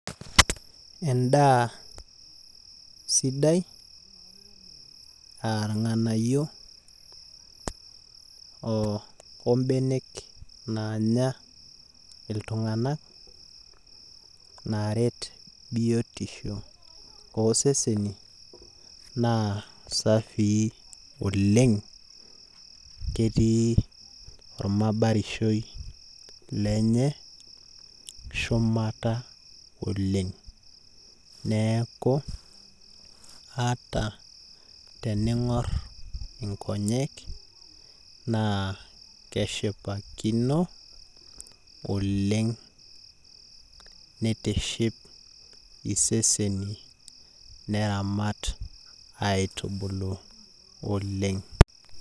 Endaa sidai ah irng'anayio obenek naanya iltung'anak, naaret biotisho oseseni, naa safii oleng, ketii ormabarishoi lenye shumata oleng. Neeku, ata tening'or inkonyek naa keshipakino, oleng nitiship iseseni neramat aitubulu oleng.